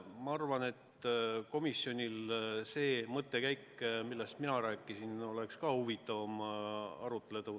Ma arvan, et komisjonis oleks seda mõttekäiku, millest ka mina rääkisin, huvitavam arutada.